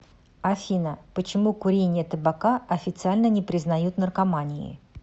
афина почему курение табака официально не признают наркоманией